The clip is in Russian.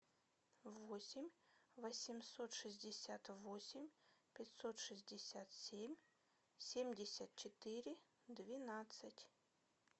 восемь восемьсот шестьдесят восемь пятьсот шестьдесят семь семьдесят четыре двенадцать